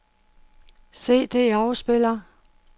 CD-afspiller